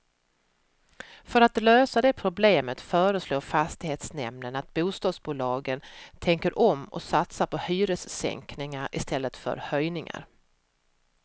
För att lösa det problemet föreslår fastighetsnämnden att bostadsbolagen tänker om och satsar på hyressänkningar istället för höjningar.